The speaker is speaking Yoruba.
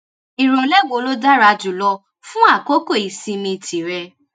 ìrọ̀lẹ́ wo ló dára jù lọ fún àkókò ìsinmi tìrẹ?